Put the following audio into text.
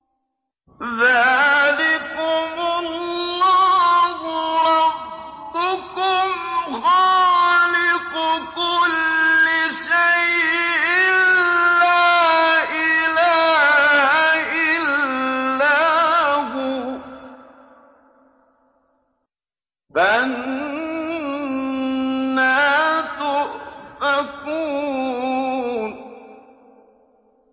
ذَٰلِكُمُ اللَّهُ رَبُّكُمْ خَالِقُ كُلِّ شَيْءٍ لَّا إِلَٰهَ إِلَّا هُوَ ۖ فَأَنَّىٰ تُؤْفَكُونَ